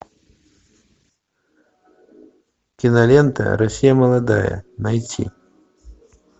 кинолента россия молодая найти